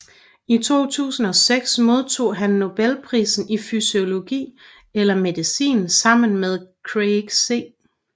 I 2006 modtog han Nobelprisen i fysiologi eller medicin sammen med Craig C